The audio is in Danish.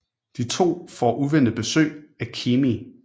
De to får uventet besøg af Keamy